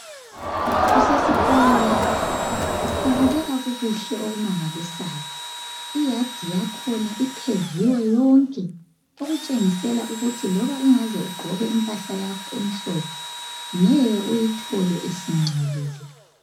Kusesikolo lapha kubukeka kukuhle okumangalisayo iyard yakhona ipheviwe , yonke okutshengisa ukuthi loba ungaze ugqoke impahla yakho emhlophe ngeke uyithole singcolile